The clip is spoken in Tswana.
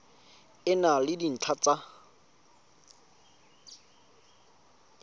e na le dintlha tsa